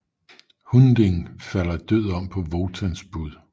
Hunding falder død om på Wotans bud